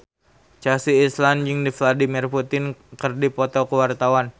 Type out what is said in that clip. Chelsea Islan jeung Vladimir Putin keur dipoto ku wartawan